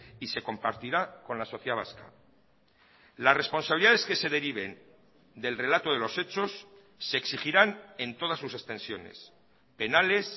y se compartirá con la sociedad vasca la responsabilidades que se deriven del relato de los hechos se exigirán en todas sus extensiones penales